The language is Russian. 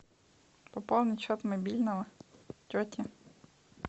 пополнить счет мобильного тети